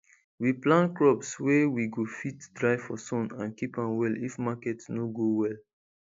we plant crops wey we go fit dry for sun and keep am well if market no go well